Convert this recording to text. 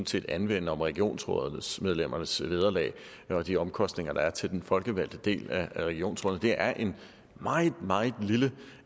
set anvende om regionsrådsmedlemmernes vederlag og de omkostninger der er til den folkevalgte del af regionsrådene det er en meget meget lille